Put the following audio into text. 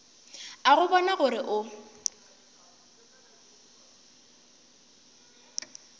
a go bona gore o